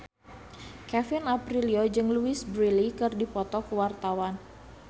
Kevin Aprilio jeung Louise Brealey keur dipoto ku wartawan